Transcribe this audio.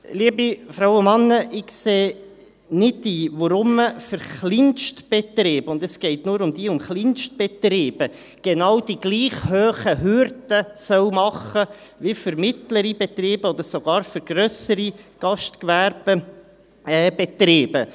Liebe Frauen und Männer, ich sehe nicht ein, weshalb man für Kleinbetriebe – und es geht nur um diese – genau die gleich hohen Hürden machen soll wie für mittlere Betriebe oder sogar grössere Gastgewerbebetriebe.